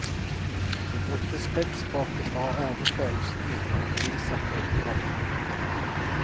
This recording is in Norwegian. Jeg brukte skriftspråket for å ordne følelsene mine og bevise at jeg ikke var dum.